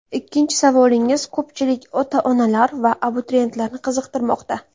Ikkinchi savolingiz ko‘pchilik ota-onalar va abituriyentlarni qiziqtirmoqda.